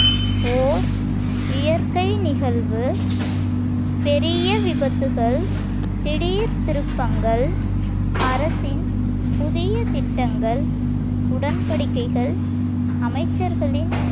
போர், இயற்கை நிகழ்வு, பெரிய விபத்துகள், திடீர்த் திருப்பங்கள், அரசின் புதிய திட்டங்கள், உடன்படிக்கைகள், அமைச்சர்களின்